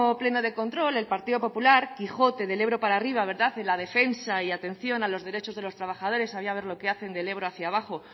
pleno de control el partido popular quijote del ebro para arriba en la defensa y atención a los derechos de los trabajadores habría que ver lo que hacen del ebro hacia abajo